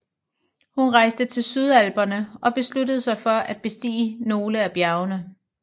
Hun rejste til Sydalperne Og besluttede sig for at bestige nogle af bjergene